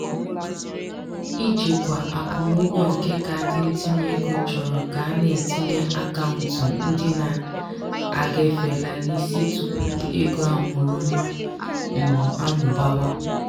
ijikwa akwụmụgwọ nke kaadị ntinyeego chọrọ ka a na-etinye akaụntụ ndị na-agafeela n'isi tupu ego ọmụrụnwa um amụbawa.